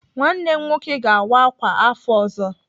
Nwanne m nwoke ga-awa ákwà afọ ọzọ.